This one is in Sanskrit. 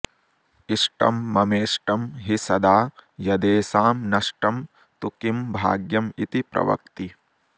इष्टं ममेष्टं हि सदा यदेषां नष्टं तु किं भाग्यमिति प्रवक्ति